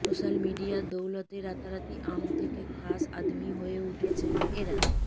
social মিডিয়ার দৌলতে রাতারাতি আম থেকে খাস আদমি হয়ে উঠেছেন এঁরা